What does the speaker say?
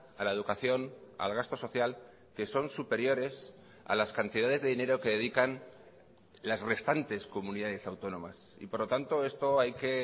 a la educación al gasto social que son superiores a las cantidades de dinero que dedican las restantes comunidades autónomas y por lo tanto esto hay que